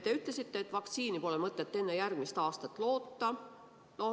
Te ütlesite, et vaktsiini pole mõtet enne järgmist aastat loota.